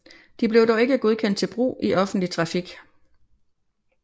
De blev dog ikke godkendt til brug i offentlig trafik